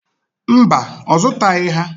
Mba, ọ zụtaghị ha.